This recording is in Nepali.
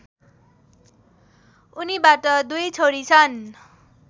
उनीबाट दुई छोरी छन्